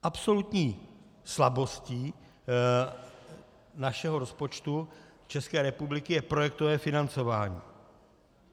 Absolutní slabostí našeho rozpočtu České republiky je projektové financování.